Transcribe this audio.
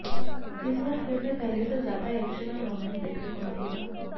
इस बार फिल्म में पहले से ज्यादा एक्शन और रोमांस देखने को मिलेगा